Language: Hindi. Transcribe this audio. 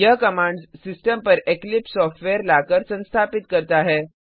यह कमाण्ड्स सिस्टम पर इक्लिप्स सॉफ्टवेयर लाकर संस्थापित करता है